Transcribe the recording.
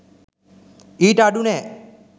ඊට අඩු නෑ